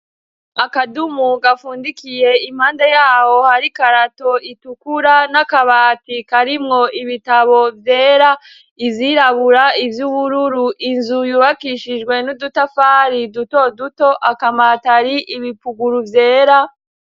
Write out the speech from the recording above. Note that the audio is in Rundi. Akadumu gafundikiye impanda yawo hari karato itukura n'akabatikaarimwo ibitabo vyera izirabura ivyo ubururu inzu yubakishijwe n'udutafari duto duto akamatari ibipuguru vyera.